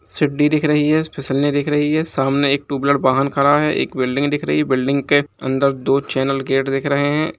सिडी दिख रही है स्-फिसलनी दिख रही है। सामने एक टू विलर वाहन खड़ा है। एक बिल्डिंग दिख रही है बिल्डिंग के अंदर दो चैनल गेट दिख रहे हैं।